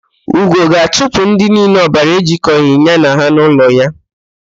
Ugo ga-achụpụ ndị niile ọbara ejikọghị ya na ha n'ụlọ ya.